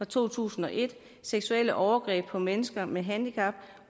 to tusind og et seksuelle overgreb på mennesker med handicap